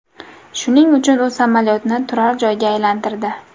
Shuning uchun u samolyotni turar joyga aylantirdi.